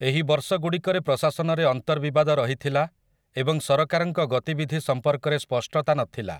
ଏହି ବର୍ଷଗୁଡ଼ିକରେ ପ୍ରଶାସନରେ ଅନ୍ତର୍ବିବାଦ ରହିଥିଲା ଏବଂ ସରକାରଙ୍କ ଗତିବିଧି ସମ୍ପର୍କରେ ସ୍ପଷ୍ଟତା ନଥିଲା ।